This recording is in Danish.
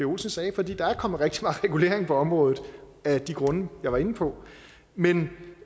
olsen sagde fordi der er kommet rigtig meget regulering på området af de grunde jeg var inde på men